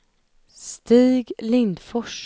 Stig Lindfors